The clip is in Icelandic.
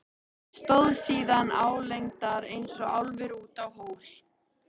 Stóð síðan álengdar eins og álfur út úr hól.